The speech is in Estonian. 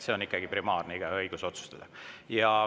See on ikkagi primaarne, igaühe õigus otsustada.